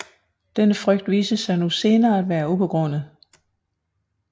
Denne frygt viste sig nu senere at være ubegrundet